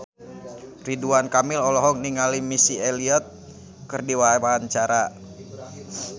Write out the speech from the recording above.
Ridwan Kamil olohok ningali Missy Elliott keur diwawancara